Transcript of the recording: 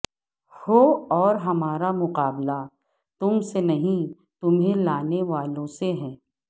ہو اور ہمارا مقابلہ تم سے نہیں تمہیں لانے والوں سے ہے